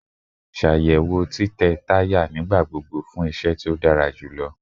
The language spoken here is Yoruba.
Ṣayẹwo titẹ taya nigbagbogbo fun iṣẹ ti o dara julọ